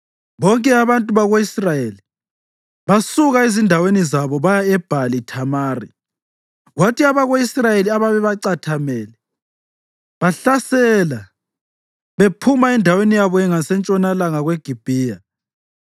Bonke abantu bako-Israyeli basuka ezindaweni zabo baya eBhali-Thamari, kwathi abako-Israyeli ababecatheme bahlasela bephuma endaweni yabo ngasentshonalanga kweGibhiya.